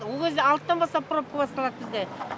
ол кезде алтыдан бастап пропкі басталады бізде